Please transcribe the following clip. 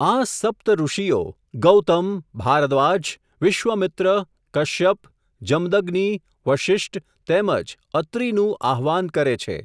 આ, સપ્ત ઋષિઓ, ગૌતમ, ભારદ્વાજ, વિશ્વામિત્ર, કશ્યપ, જમદગ્નિ, વશિષ્ટ, તેમજ, અત્રિનું, આહવાન કરે છે.